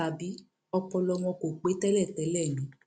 tàbí ọpọlọ wọn kò pẹ tẹlẹtẹlẹ ni